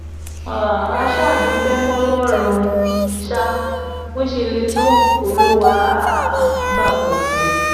um a ṣáà dúpẹ́ fọlọ́run sá bó ṣe lè tọ́ olúwa um gba àkóso